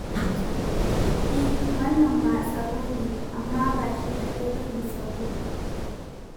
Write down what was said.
E, wannan ma tsaro ne, amma ba shi kaɗai ba ne tsaro.